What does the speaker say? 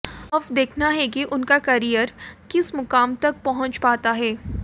अब देखना है कि उनका करियर किस मुकाम तक पहुंच पाता है